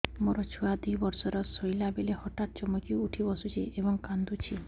ମୋ ଛୁଆ ଦୁଇ ବର୍ଷର ଶୋଇଲା ବେଳେ ହଠାତ୍ ଚମକି ଉଠି ବସୁଛି ଏବଂ କାଂଦୁଛି